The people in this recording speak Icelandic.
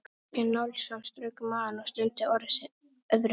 Skarphéðinn Njálsson strauk um magann og stundi öðru sinni.